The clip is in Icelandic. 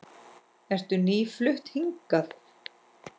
Ertu nýflutt hingað?